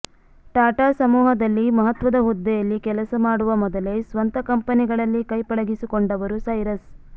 ಟಾಟಾ ಸಮೂಹದಲ್ಲಿ ಮಹತ್ವದ ಹುದ್ದೆಯಲ್ಲಿ ಕೆಲಸ ಮಾಡುವ ಮೊದಲೇ ಸ್ವಂತ ಕಂಪೆನಿಗಳಲ್ಲಿ ಕೈಪಳಗಿಸಿಕೊಂಡವರು ಸೈರಸ್